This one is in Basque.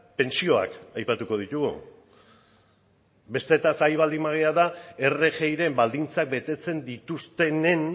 pentsioak aipatuko ditugu besteetaz ari baldin bagara rgiren baldintzak betetzen dituztenen